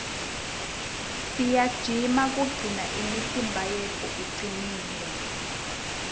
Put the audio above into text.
siyajima kugcina imitimba yetfu icinile